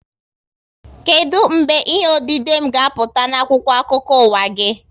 Kedụ mgbe ihe odide m ga-apụta n'akwụkwọ akụkọ ụwa gị?